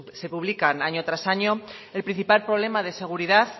se publican año tras año el principal problema de seguridad